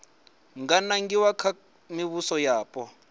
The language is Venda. nga nangiwa kha mivhuso yapo